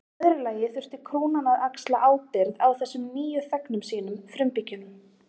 Í öðru lagi þurfti krúnan að axla ábyrgð á þessum nýju þegnum sínum, frumbyggjunum.